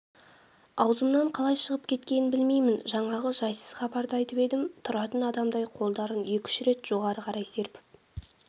аузымнан қалай шығып кеткенін білмеймін жаңағы жайсыз хабарды айтып едім тұратын адамдай қолдарын екі-үш рет жоғары қарай серпіп